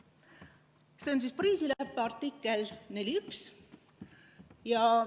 See on Pariisi leppe artikkel 4.1.